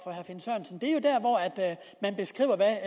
man beskriver hvad